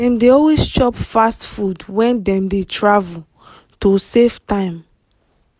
dem dey always chop fast food when dem dey travel to save time.